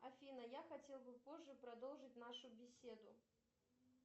афина я хотел бы позже продолжить нашу беседу